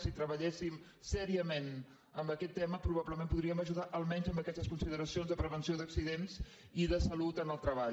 si treballéssim seriosament en aquest tema probablement podríem ajudar almenys en aquestes consideracions de prevenció d’accidents i de salut en el treball